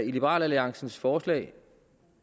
i liberal alliances forslag